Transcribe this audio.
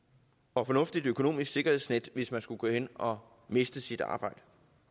og fornuftigt økonomisk sikkerhedsnet hvis man skulle gå hen og miste sit arbejde